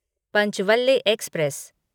Panchvalle express